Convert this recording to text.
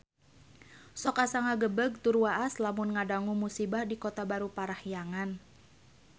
Sok asa ngagebeg tur waas lamun ngadangu musibah di Kota Baru Parahyangan